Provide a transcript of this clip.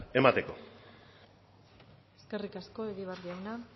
emateko eskerrik asko egibar jauna